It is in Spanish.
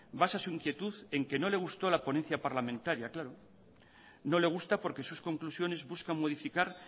basa su inquietud en que no le gustó la ponencia parlamentaria claro no le gusta porque sus conclusiones buscan modificar